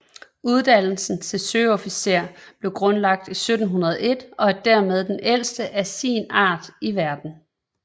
Uddannelsen til søofficer blev grundlagt i 1701 og er dermed den ældste af sin art i verden